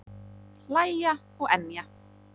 Hlæja og emja.